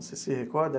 Você se recorda?